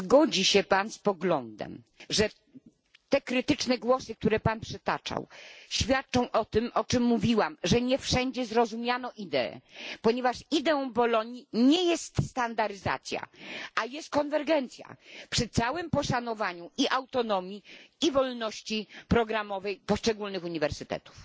Czy zgodzi się Pan z poglądem, że te krytyczne głosy które Pan przytaczał świadczą o tym, o czym mówiłam że nie wszędzie zrozumiano ideę, ponieważ ideą Bolonii nie jest standardyzacja, lecz konwergencja przy całym poszanowaniu i autonomii i wolności programowej poszczególnych uniwersytetów?